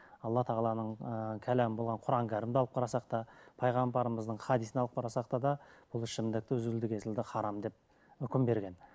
алла тағаланың ыыы кәләм болған құранын кәрімді алып қарасақ та пайғамбарымыздың хадисын алып қарасақ та да бұл ішімдікті үзілді кесілді харам деп үкім берген